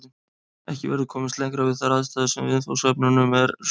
Ekki verður komist lengra við þær aðstæður sem viðfangsefnunum eru skapaðar.